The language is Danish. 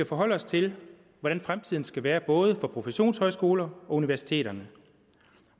forholder os til hvordan fremtiden skal være både for professionshøjskoler og for universiteter